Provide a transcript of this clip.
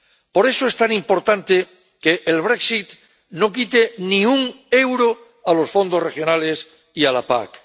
Por eso es tan importante que el brexit no quite ni un euro a los fondos regionales y a la PAC.